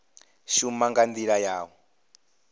shuma nga ndila ya u